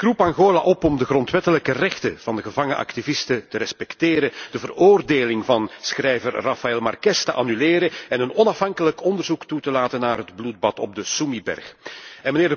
Ik roep Angola op om de grondwettelijke rechten van de gevangen activisten te respecteren, de veroordeling van schrijver Rafael Marques te annuleren en een onafhankelijk onderzoek toe te laten naar het bloedbad op de berg Sumi.